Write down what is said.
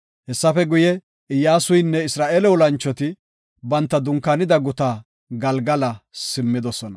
Hessafe guye, Iyyasuynne Isra7eele olanchoti banta dunkaanida gutaa Galgala simmidosona.